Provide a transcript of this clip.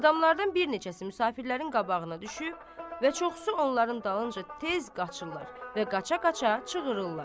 Adamlardan bir neçəsi müsafirlərin qabağına düşüb və çoxu onların dalınca tez qaçırlar və qaça-qaça çığırırlar.